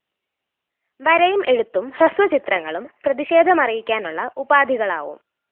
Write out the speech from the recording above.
വരയും എഴുത്തും ഹ്രസ്വചിത്രങ്ങളും പ്രതിഷേധമറിയിക്കാനുള്ള ഉപാധികളാവും